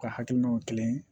U ka hakilinaw kelen ye